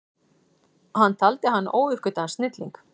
Hann taldi hann óuppgötvaðan snilling.